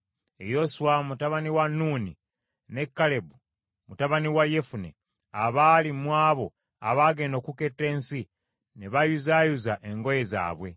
Yoswa mutabani wa Nuuni ne Kalebu mutabani wa Yefune, abaali mu abo abaagenda okuketta ensi, ne bayuzaayuza engoye zaabwe ,